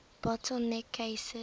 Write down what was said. bottle neck cases